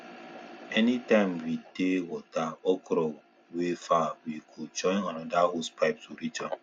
anytime we dey water okra wey far we go join another hosepipe to reach am